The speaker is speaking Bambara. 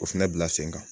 O fɛnɛ bila sen kan